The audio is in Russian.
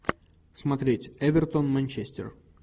смотреть эвертон манчестер